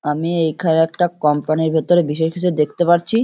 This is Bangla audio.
আমি এখানে একটা কোম্পানি -র ভেতরে বিশেষ কিছু দেখতে পারছি ।